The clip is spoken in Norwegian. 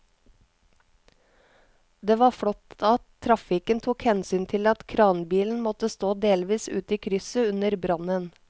Det var flott at trafikken tok hensyn til at kranbilen måtte stå delvis ute i krysset under brannen.